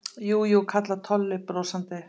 Jú, jú kallar Tolli brosandi.